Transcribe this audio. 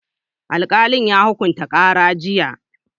Alƙalin ya hukunta ƙara jiya